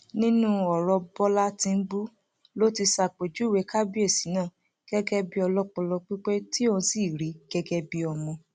nínú ọrọ bọlá tìǹbù ló ti ṣàpèjúwe kábíyèsí náà gẹgẹ bíi ọlọpọlọ pípé tí òun sì rí gẹgẹ bí ọmọ